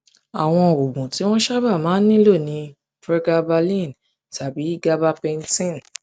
àwọn oògùn tí wọn sábà máa ń ń nílò ni pregabalin tàbí gabapentin